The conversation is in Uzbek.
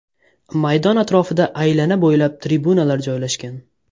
Maydon atrofida aylana bo‘ylab tribunalar joylashgan.